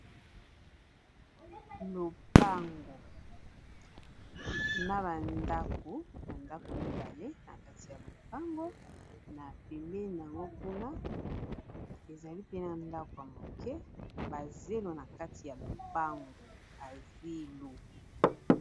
lopango na bandako bandako 2e na kati ya lopango na peme yango kuna ezali pena ndako ya moke bazelo na kati ya lopango pazilo